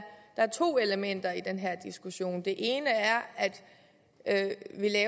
der er to elementer i den her diskussion det ene er at